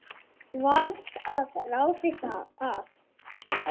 Varð að ráði að